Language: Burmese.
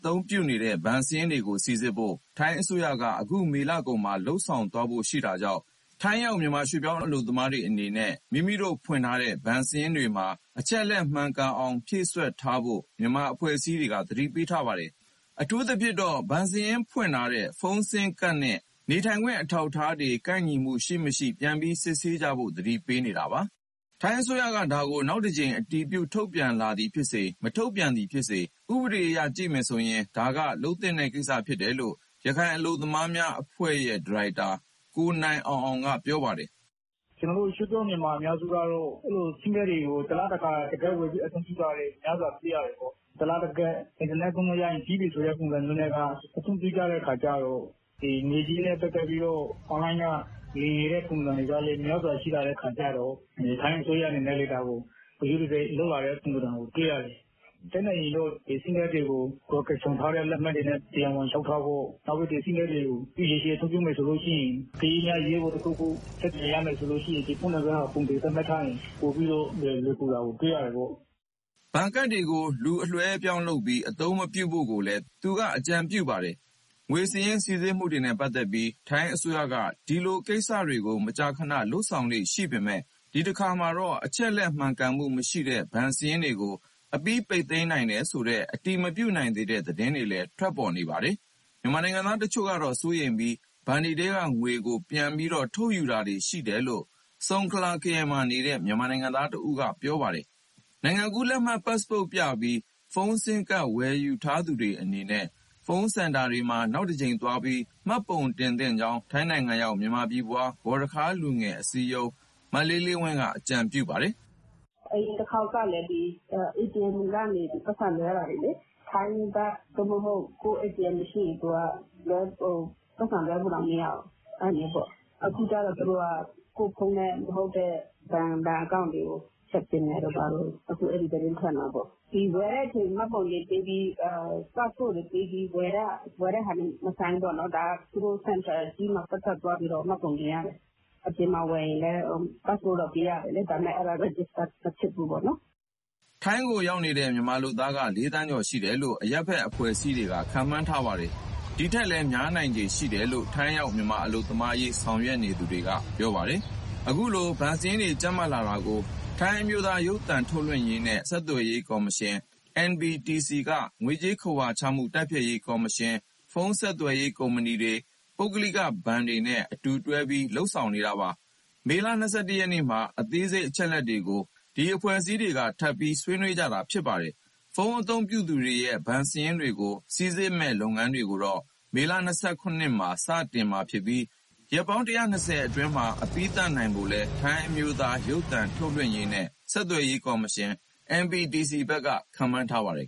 သုံးနေတဲ့ ဘဏ်စာရင်းတွေကိုစိစစ်ဖို့ ထိုင်းအစိုးရက အခုမေလကုန်မှာ လုပ်ဆောင်သွားဖို့ရှိတာကြောင့် ထိုင်းရောက် ရွှေ့ပြောင်းမြန်မာတွေအနေနဲ့ မိမိဖွင့်ထားတဲ့ ဘဏ်စာရင်းတွေမှာ အချက်အလက် မှန်ကန်အောင်ဖြည့်စွက်ထားဖို့ မြန်မာအဖွဲ့အစည်းတွေက သတိပေးထားပါတယ်။ အထူးသဖြင့် ဘဏ်စာရင်းဖွင့်ထားတဲ့ ဖုန်းဆင်းမ်ကဒ်နဲ့ နေထိုင်ခွင့် အထောက်အထားတွေ ကိုက်ညီမှု ရှိ၊ မရှိ ပြန်ပြီးစစ်ဆေးကြဖို့ သတိပေးနေတာပါ။ ထိုင်းအစိုးရက ဒါကို နောက်တကြိမ် အတည်ပြုထုတ်ပြန်လာသည်ဖြစ်စေ၊ မထုတ်ပြန်သည်ဖြစ်စေ ဥပဒေအရကြည့်မယ်ဆိုရင် ဒါက လုပ်သင့်တဲ့ကိစ္စဖြစ်တယ်လို့ ရခိုင်အလုပ်သမားများအဖွဲ့ရဲ့ ဒါရိုက်တာ ကိုနိုင်အောင်အောင်က ပြောပါတယ်။ "ကျနော်တို့ ရွှေ့ပြောင်းမြန်မာအများစုကတော့ ဆင်းမကဒ်တွေကို တလတခါ တကဒ်ဝယ်ပြီး အသုံးပြုတာတွေ များစွာတွေ့ရတယ်။ တလတကဒ်၊ အင်တာနက် သုံးလို့ရရင်ပြီးပြီဆိုတဲ့ ပုံစံမျိုးနဲ့က အသုံးပြုကြတဲ့အခါကျတော့ ငွေကြေးနဲ့ပတ်သက်ပြီးတော့ အွန်လိုင်းက လိမ်လည်နေတဲ့ပုံစုံတွေကလည်း များစွာ ရှိလာတဲ့အခါကျတော့ ထိုင်းအစိုးရအနေနဲ့ ဒါကို ဂရုတစိုက်လုပ်လာတဲ့ပုံစံကို တွေ့ရတယ်။ တတ်နိုင်ရင်တော့ ဒီဆင်းမ်ကဒ်တွေကို ကိုယ်ကိုင်ဆောင်ထားတဲ့ လက်မှတ်တွေနဲ့ တရားဝင်လျှောက်ထားဖို့၊ နောက်ပြီး ဒီဆင်းမ်ကဒ်တွေကို ရေရှည်အသုံးပြုမယ်ဆိုရင် အကယ်၍များ အရေးပေါ်တခုခု ဆက်သွယ်ရမယ်ဆိုရင် ဒီဖုန်းနံပါတ်ကို ပုံသေသတ်မှတ်ထားရင် ပိုပြီးလွယ်ကူတာကို တွေ့ရတယ်ပေါ့။" ဘဏ်ကဒ်တွေကို လူအလွှဲအပြောင်းလုပ်ပြီး အသုံးမပြုဖို့လည်း သူက အကြံပြုပါတယ်။ ငွေစာရင်းစိစစ်မှုတွေနဲ့ပက်သတ်ပြီး ထိုင်းအစိုးရက ဒီလိုကိစ္စတွေကို မကြာခဏလုပ်ဆောင်လေ့ရှိပေမဲ့ ဒီတခါမှာတော့ အချက်အလက် မှန်ကန်မှုမရှိတဲ့ ဘဏ်စာရင်းတွေကို အပြီးပိတ်သိမ်းနိုင်တယ်ဆိုတဲ့ အတည်မပြုနိုင်သေးတဲ့သတင်းတွေလည်း ထွက်နေပါတယ်။ မြန်မာနိုင်ငံသားတချို့ကတော့ စိုးရိမ်ပြီး ဘဏ်ထဲကငွေကို ပြန်ပြီး ထုတ်ယူတာတွေရှိတယ်လို့ ဆုံခလာခရိုင်မှာနေတဲ့ မြန်မာနိုင်ငံသား တဦးက ပြောပါတယ်။ နိုင်ငံကူးလက်မှတ် (ပတ်စ်ပို့) ပြပြီး ဖုန်းဆင်းမ်ကဒ် ဝယ်ယူထားသူတွေအနေနဲ့ ဖုန်းစင်တာတွေမှာ နောက်တကြိမ်သွားပြီး မှတ်ပုံတင်သင့်ကြောင်း ထိုင်းနိုင်ငံရောက် မြန်မာပြည်ဖွား ဂေါ်ရခါးလူငယ် အစည်းအရုံးဝင် မလေးလေးဝင်းက အကြံပြုထားပါတယ်။ "အရင်တခေါက်ကလည်း ATM တွေကနေ ပိုက်ဆံလွှဲတာတွေလေ ထိုင်းဘတ် (အထောက်အထား) သို့မဟုတ် ကိုယ့် ATM မရှိရင် ပိုက်ဆံလွှဲလို့တောင် မရဘူး အဲလိုမျိုးပေါ့။ အခုကျ သူတို့က ကိုယ့်ဖုန်းနဲ့မဟုတ်တဲ့ဘဏ်အကောင့်တွေကို ဖျက်ပစ်မယ်တို့ ဘာတို့ အခု အဲသတင်းထွက်နေတာပေါ့။ (ဆင်းမ်ကဒ်) ဝယ်တဲ့အချိန် မှတ်ပုံတင်ပေးပြီး၊ ပတ်စ်ပို့တ်တွေပေးပြီးဝယ်တဲ့ဟာတွေ မဆိုင်ဘူးပေါ့နော် သူတို့ (ဖုန်း)စင်တာကြီးမှာသွားပြီး သပ်သပ် မှတ်ပုံတင်ရတယ်။ အပြင်မှာဝယ်ရင်လည်း ပတ်စ်ပို့တော့ ပေးရတယ်လေ။ ဒါပေမဲ့ အဲဒါ register မဖြစ်ဘူးပေါ့နော်။" ထိုင်းကိုရောက်နေတဲ့ မြန်မာလုပ်သားက ၄ သန်းကျော်ရှိတယ်လို့ အရပ်ဘက် အဖွဲ့အစည်းတွေက ခန့်မှန်းထားပါတယ်။ ဒီထက်လည်း များနိုင်ခြေရှိတယ်လို့ ထိုင်းရောက် မြန်မာအလုပ်သမားအရေး ဆောင်ရွက်နေသူတွေက ပြောပါတယ်။ အခုလို ဘဏ်စာရင်းတွေ ကြပ်မတ်တာကို ထိုင်းအမျိုးသား ရုပ်သံထုတ်လွှင့်ရေးနှင့် ဆက်သွယ်ရေးကော်မရှင် (NBTC) က ငွေကြေးခဝါချမှု တိုက်ဖျက်ရေး ကော်မရှင်၊ ဖုန်းဆက်သွယ်ရေး ကုမ္ပဏီတွေ၊ ပုဂ္ဂလိကဘဏ်တွေနဲ့ အတူတွဲပြီး လုပ်ဆောင်နေတာပါ။ မေလ ၂၁ ရက်မှာ အသေးစိတ်အချက်အလက်တွေကို ဒီအဖွဲ့တွေက ထပ်ပြီးဆွေးနွေးခဲ့ကြတာပါ။ ဖုန်းအသုံးပြုသူတွေရဲ့ ဘဏ်စာရင်းတွေကို စိစစ်မဲ့ လုပ်ငန်းတွေကို မေလ ၂၇ ရက်မှာ စတင်မှာဖြစ်ပြီး ရက်ပေါင်း ၁၂၀ အတွင်းမှာ အပြီးသတ်နိုင်ဖို့လည်း ထိုင်းအမျိုးသား ရုပ်သံထုတ်လွှင့်ရေးနှင့် ဆက်သွယ်ရေးကော်မရှင် (NBTC) ဘက်က ခန့်မှန်းထားပါတယ်